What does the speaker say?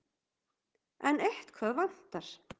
En eitthvað vantar.